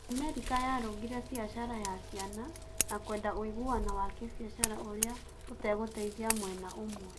America yarũngire biacara ya Caina na kwenda ũiguano wa kĩbiacara ũria ũtegũteithia mwena umwe